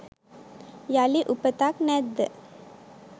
යළි උපතක් නැද්ද